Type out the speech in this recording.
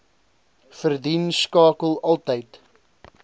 verdien skakel altyd